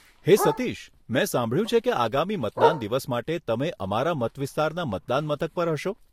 હે સતીશ, મેં સાંભળ્યું છે કે આગામી મતદાન દિવસ માટે તમે અમારા મતવિસ્તારના મતદાન મથક પર હશો.